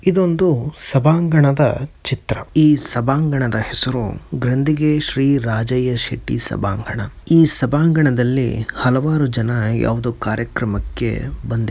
ಇದೊಂದು ಸಭಾಂಗಣದ ಚಿತ್ರ ಈ ಸಭಾಂಗಣದ ಹೆಸರು ಗಂದಿಗೆಯ ಶ್ರೀ ರಾಜಯ್ಯ ಶೆಟ್ಟಿ ಸಭಾಂಗಣ ಈ ಸಭಾಂಗಣದಲ್ಲಿ ಹಲವಾರು ಜನರು ಯಾವುದೋ ಕಾರ್ಯಕ್ರಮಕ್ಕೆ ಬಂದಿ --